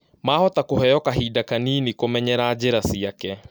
Mahota kũheo kahinda Kanini kũmenyera njĩra ciake